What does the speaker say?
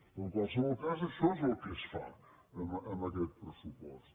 però en qualsevol cas això és el que es fa amb aquest pressupost